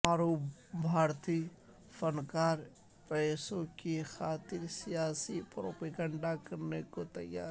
معروف بھارتی فنکار پیسوں کی خاطر سیاسی پروپیگنڈا کرنے کو تیار